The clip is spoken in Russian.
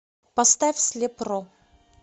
поставь слеп ро